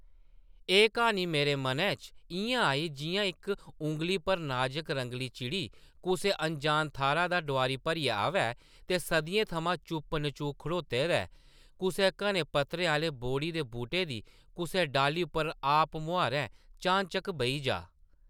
एह् क्हानी मेरे मनै च इʼयां आई, जिʼयां इक उंगली भर नाज़क रंगली चिड़ी कुसै अनजान थाह्रा दा डोआरी भरियै आवै ते सदियें थमां चुप्प-नचूक खड़ोते दे कुसै घने पत्तरें आह्ले बोह्ड़ी दे बूह्टे दी कुसै डाह्ल्ली उप्पर आपमुहारें, चानचक्क बेही जाऽ ।